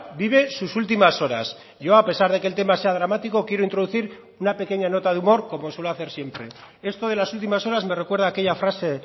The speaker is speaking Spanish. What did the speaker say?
vive sus últimas horas yo a pesar de que el tema sea dramático quiero introducir una pequeña nota de humor como suelo hacer siempre esto de las últimas horas me recuerda a aquella frase